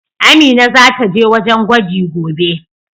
Amina zata je wajen gwaji gobe.